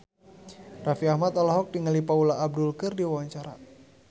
Raffi Ahmad olohok ningali Paula Abdul keur diwawancara